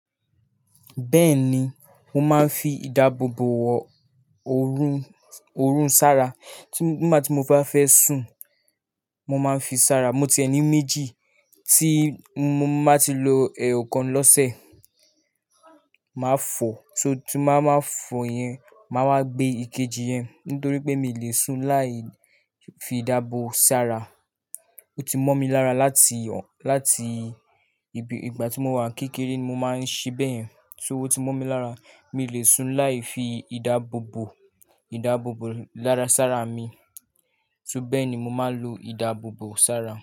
Bẹ́ẹ̀ni, mo máa ń fi ìdáàbòbò wọ òórùn, òórùn sára. Nígbà tí mo bá fẹ́ sùn, mo máa ń fi sára. Mo ti ẹni méjì tí mo máa ti lo ẹ̀ẹ̀kan lọ́sẹ̀, màá fọ̀, tí mo bá máa fọ̀ yẹn, màá wá gbé ikeji yẹn nítorí pé mi ò lè sùn láì fi ìdáàbò sára. Ó ti mọ́ mi lára láti, láti ìgbà tí mo wà kékeré mo máa ń ṣí bẹ́ẹ̀. So oti mọ́ mi lára, mi ò lè sùn láì fi ìdáàbòbò, ìdáàbòbò lára sára mi. Sú beeni mo máa ń lo ìdáàbòbò sára.